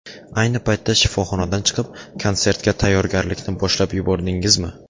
Ayni paytda shifoxonadan chiqib, konsertga tayyorgarlikni boshlab yubordingizmi?